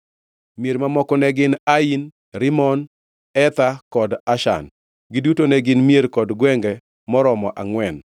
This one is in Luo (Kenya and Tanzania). Mier mamoko ne gin: Ain, Rimon, Ether kod Ashan. Giduto ne gin mier kod gwenge maromo angʼwen,